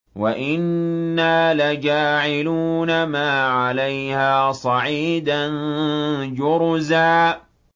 وَإِنَّا لَجَاعِلُونَ مَا عَلَيْهَا صَعِيدًا جُرُزًا